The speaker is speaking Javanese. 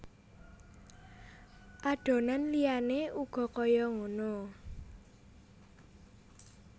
Adonan liyane uga kaya ngono